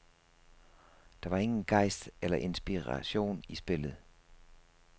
Der var ingen gejst eller inspiration i spillet.